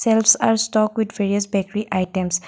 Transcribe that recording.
fields are stock with various bakery items.